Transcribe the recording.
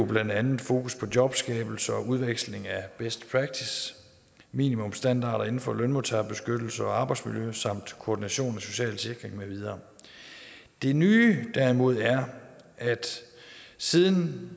blandt andet fokus på jobskabelse og udveksling af best practice minimumsstandarder inden for lønmodtagerbeskyttelse og arbejdsmiljø samt koordination af social sikring med videre det nye er derimod at siden